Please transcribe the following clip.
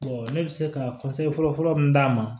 ne bɛ se ka fɔlɔ fɔlɔ mun d'a ma